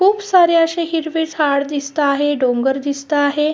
खुप सारे असे हिरवे झाड दिसता आहे डोंगर दिसता आहे.